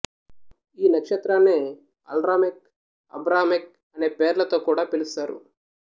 ఈ నక్షత్రాన్నే Alramech Abramech అనే పేర్లతో కూడా పిలుస్తారు